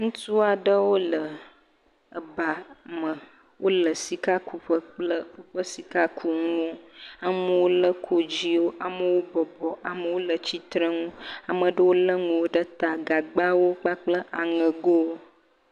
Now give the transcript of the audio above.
Ŋutsu aɖe wole eba me. Wole sikakuƒe kple woƒe sikakunuwo. Amewo le kodzoewo. Amewo bɔbɔ, amewo le tsitrenu, ame aɖewo le enuwo ɖe ta, gagbawo kple aŋegowo.